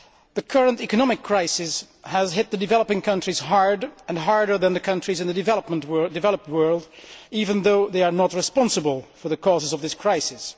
The current economic crisis has hit the developing countries hard and harder than the countries in the developed world even though they are not responsible for the causes of this crisis.